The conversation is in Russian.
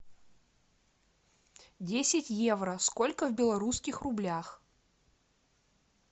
десять евро сколько в белорусских рублях